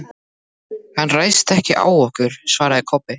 Hann ræðst ekkert á okkur, svaraði Kobbi.